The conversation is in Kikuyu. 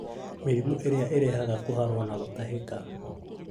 Mĩrimũ ĩrĩa ĩrehaga kũharwo na gũtahĩka,